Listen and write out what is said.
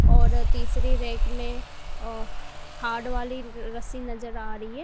और तीसरी रैक में हार्ड वाली रस्सी नजर आ रही है।